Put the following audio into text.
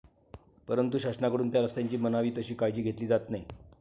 परंतु, शासनाकडून त्या रस्त्यांची म्हणावी तशी काळजी घेतली जात नाही.